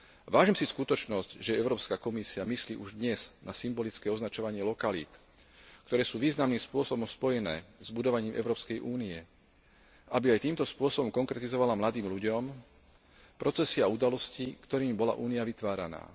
Vážim si skutočnosť, že Európska komisia myslí už dnes na symbolické označovanie lokalít, ktoré sú významných spôsobom spojené s budovaním Európskej únie, aby aj týmto spôsobom konkretizovala mladým ľuďom procesy a udalosti, ktorými bola Únia vytváraná.